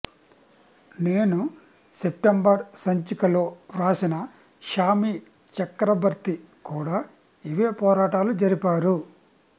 నేను సెప్టెంబర్ సంచిక లో వ్రాసిన షామీ చక్రబర్తి కూడా ఇవే పోరాటాలు జరిపారు